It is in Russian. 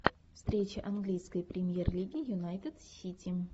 встреча английской премьер лиги юнайтед сити